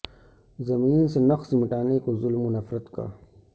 زمیں سے نقش مٹانے کو ظلم و نفرت کا